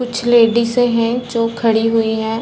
कुछ लेडीज है जो खड़ी हुई हैं।